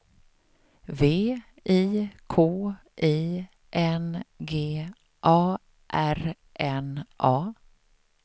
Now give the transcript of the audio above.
V I K I N G A R N A